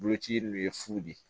Boloci in ye fu de ye